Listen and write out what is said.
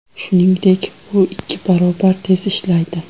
Shuningdek, u ikki barobar tez ishlaydi.